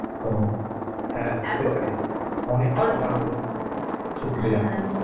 ও হ্যাঁ অনেক কথা হলো